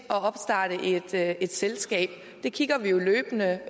kan opstarte et selskab det kigger vi jo løbende